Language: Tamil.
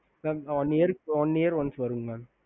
ஹம்